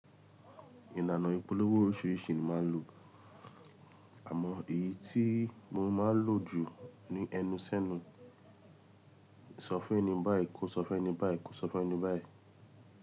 Ìlànà ìpolówó oríṣiríṣi ni máa ń lò. Àmọ èyí tí mo máa ń lò jù ni ẹnu sẹ́nu. Sọ fún ẹni báyìí kó sọ fún ẹni báyìí kó sọ fún ẹni báyìí.